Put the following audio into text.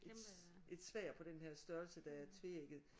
Et et sværd på den her størrelse der er tveægget